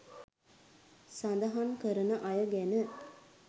සඳහන් කරන අය ගැන